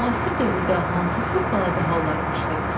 Müasir dövrdə hansı fövqəladə hallar baş verir?